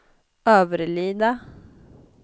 Överlida